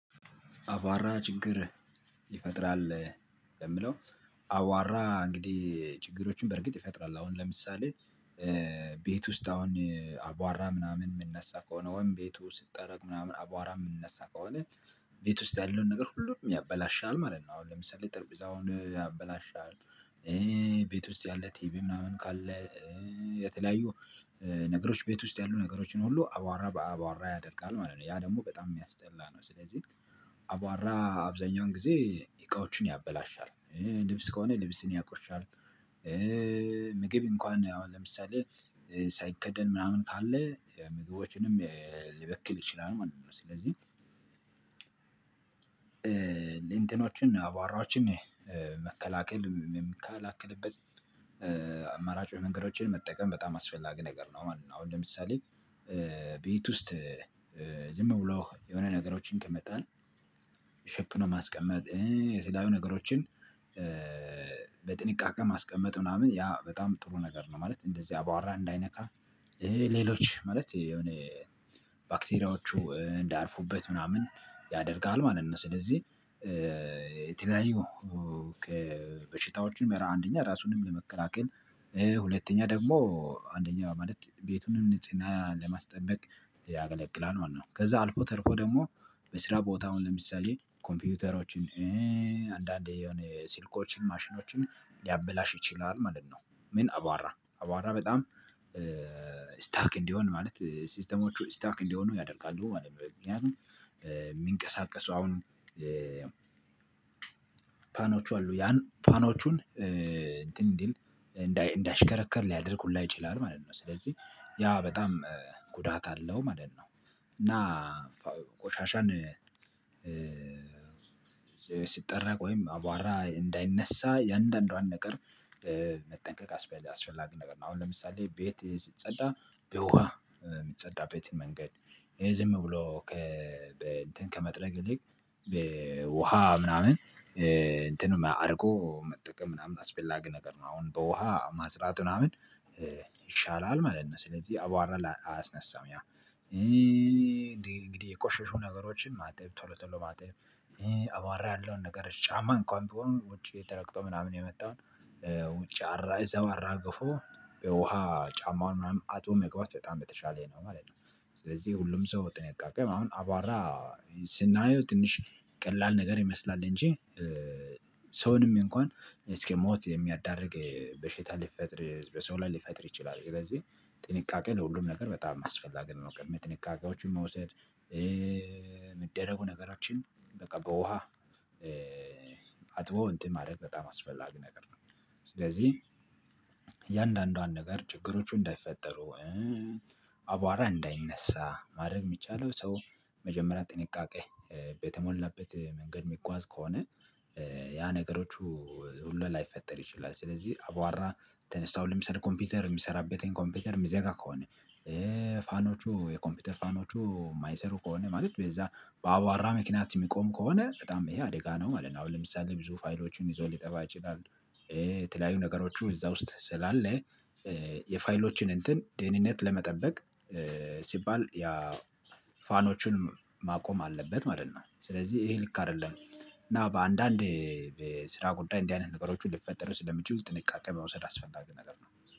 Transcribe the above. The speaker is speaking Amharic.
አባራ ችግር ይፈጥራል የምለው። አዋራ እንግዲህ ችግሮችን በእርግጥ ይፈጥራል አሁን ለምሳሌ። ቤት ውስጥ አሁን አቧራ ምናምን የሚነሳ ከሆነ ወይም ቤቱ ስትጠረግ ምናምን አቧራ የምንነሳ ከሆነ ቤት ውስጥ ያለውን ነገር ሁሉንም ያበላሻል ማለት ነው። አሁን ለምሳሌ ጠርቢዛውን ያበላሻል። ቤት ውስጥ ያለ ቲቪ ምናምን ካለ የተለያዩ ነገሮች ቤት ውስጥ ያሉ ነገሮችን ሁሉ አቧራ በአቧራ ያደርጋል ማለት ነው። ያ ደግሞ በጣም የሚያስጠላ ነው። ስለዚህ አቧራ አብዛኛውን ጊዜ እቃዎችን ያበላሻል ልብስ ከሆነ ልብስን ያቆሻል። ምግብ እንኳን አሁን ለምሳሌ ሳይከደን ምናምን ካለ ምግቦችንም ሊበክል ይችላል ማለት ነው። ስለዚህ ሌ እንተኖችን አባራዎችን መከላከል እመከላከልበት አማራጭ መንገዶችን መጠቀም በጣም አስፈላጊ ነገር ነው ማለት ነው። አሁን ለምሳሌ ቤት ውስጥ የምውላው የሆነ ነገሮችን ይቀመጠንል ሼፕ ነው ማስቀመጥ የለያዩ ነገሮችን በጥንቃቄ ማስቀመጥ ምናምን ያ በጣም ጥሩ ነገር ነው። ማለት እንደዚያ አቧወራ እንዳይነካ ሌሎች ማለት የሆነ ባክቴሪያዎቹ እንዳያርፉበት ምናምን ያደርጋል ማለት ነው። ስለዚህ የተለያዩ ከበሽታዎችም አንደኛ ራሱንም ለመከላከል ሁለተኛ ደግሞ አንደኛ ማለት ቤቱንም ንጽና ለማስጠበቅ ያገለግላል ማለት ነው። ከዛ አልፎ ተርፎ ደግሞ በስራ ቦታውን ለምሳሌ ኮምፒውተሮችን አንዳንዴ የሆነ ስልኮችን ማሽኖችን ሊያብላሽ ይችላል ማለት ነው። ምን አቧራ አቧራ በጣም ስታክ እንዲሆን ማለት ሲስተሞቹ ስታክ እንዲሆኑ ያደርጋሉ ማለት ነው። የሚንቀሳቀሰው አሁን ፋኖቹ አሉ ያን ፋኖቹን እንዲል እንዳይ እንዳይሽከረከር ሊያደርግ ሁላ ይችላል ማለት ነው። ስለዚህ ያ በጣም ጉዳት አለው ማለት ነው። እና ቆሻሻን ሲጠራ ወይም አቧራ እንዳይነሳ የአንዳንዷን ነገር መጠንቀቅ አስፈላጊ ነገር ነው። አሁን ለምሳሌ ቤት ስጸዳ በውሃ የምትጸዳ ቤት መንገድ ዝም ብሎ ከ እንትን ከመጥረግ ይልቅ ውሃ ምናምን እንትን አድርጎ መጠቀም ምናምን አስፈላጊ ነገር ነው። አሁን በውሃ ማጽዳት ምናምን ይሻላል ማለት ነው። ስለዚህ አቧራ ላይ አየስነሳም ያ እንግዲህ የቆሸሹ ነገሮችን ማጠብ ቶሎ ቶሎ ማጠብ አቧራ ያለውን ነገር ጫማ እንኳን ቢሆን ውጪ ተረግጦ ምናምን የመጣውን ውጪ አራ እዛው አራግፎ የውሃ ጫማውን ምናምን አጥቦ መግባት በጣም በተሻለ ነው ማለት ነው። ስለዚህ ሁሉም ሰው በጥንቃቄ ማለት አሁን አቧራ ስናየው ትንሽ ቀላል ነገር ይመስላል እንጂ ሰውንም እንኳን እስከ ሞት የሚያዳርግ በሽታ ሊፈጥር በሰው ላይ ሊፈጥር ይችላል። ስለዚህ ጥንቃቄ ለሁሉም ነገር በጣም አስፈላጊ ነገር ነው። ጥንቃቄ መውሰድ የሚደረጉ ነገሮችን በቃ በውሃ አጥቦ እንትን ማድረግ በጣም አስፈላጊ ነገር ነው። ስለዚህ እያንዳንዷን ነገር ችግሮቹ እንዳይፈጠሩ አቧራ እንዳይነሳ ማድረግ የሚቻለው ሰው መጀመሪያ ጥንቃቄ በተሞላበት መንገድ የሚጓዝ ከሆነ ያ ነገሮቹ ሁሉ ላይፈጠር ይችላል። ስለዚህ አቧራ ተነስቶ አሁን ለምሳሌ ኮምፒውተር የሚሰራበትን ኮምፒውተር የሚዘጋ ከሆነ ፋኖቹ የኮምፒውተር ፋኖቹ የማይሰሩ ከሆነ ማለት በዛ በአቧራ ምክንያት የሚቆም ከሆነ በጣም ይሄ አደጋ ነው ማለት ነው። አሁን ለምሳሌ ብዙ ፋይሎቹን ይዞ ሊጠፋ ይችላል። የተለያዩ ነገሮቹ እዛ ውስጥ ስላለ የፋይሎችን እንትን ደህንነት ለመጠበቅ ሲባል ያ ፋኖችን ማቆም አለበት ማለት ነው። ስለዚህ ይሄ ልክ አይደለም። እና በአንዳንድ በስራ ጉደይ እንዲህ አይነት ነገሮች ልፈጠር ስለሚችል ጥንቃቄ መውሰድ አስፈላጊ ነገር ነው